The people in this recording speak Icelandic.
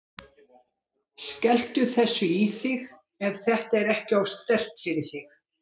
Skelltu þessu í þig, ef þetta er ekki of sterkt fyrir þig.